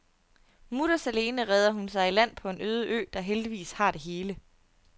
Mutters alene redder hun sig i land på en øde ø, der heldigvis har det hele.